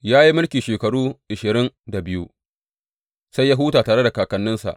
Ya yi mulki shekaru ashirin da biyu, sai ya huta tare da kakanninsa.